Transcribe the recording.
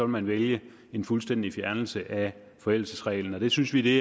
man vælge en fuldstændig fjernelse af forældelsesreglen det synes vi